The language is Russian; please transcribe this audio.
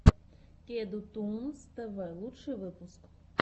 кеду тунс тв лучший выпуск